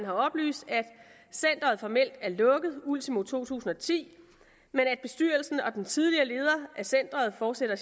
har oplyst at centeret formelt er lukket ultimo to tusind og ti men at bestyrelsen og den tidligere leder af centeret fortsætter